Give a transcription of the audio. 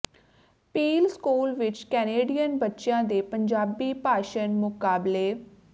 peel school ਵਿੱਚ Canadian ਬੱਚਿਆਂ ਦੇ ਪੰਜਾਬੀ ਭਾਸ਼ਨ ਮੁਕਾਬਲੇ